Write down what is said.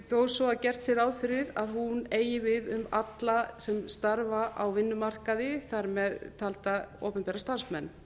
þó svo að gert sé ráð fyrir að hún eigi við um alla sem starfa á vinnumarkaði þar með talda opinbera starfsmenn